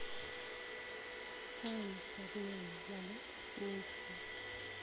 стоимость обмена валют в минске